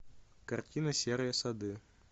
картина серые сады